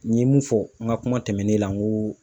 N ye mun fɔ, n ka kuma tɛmɛnen na ,n ko